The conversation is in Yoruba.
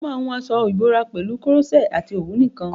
Mo máa hun aṣọ ìbora pẹ̀lú koroṣé àti òwú nìkan.